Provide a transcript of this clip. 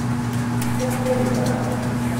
Septembra.